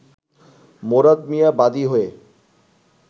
মোরাদ মিয়া বাদী হয়ে